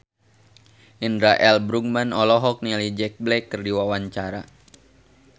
Indra L. Bruggman olohok ningali Jack Black keur diwawancara